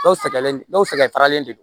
Dɔw sɛgɛnnen no dɔw sɛgɛn tagalen de don